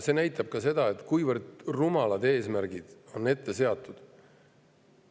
See näitab ka seda, kuivõrd rumalad eesmärgid on seatud.